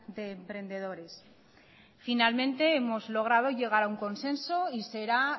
de emprendedores finalmente hemos logrado llegar a un consenso y será